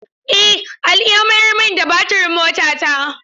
Eh Ali ya mayar min da batirin motata.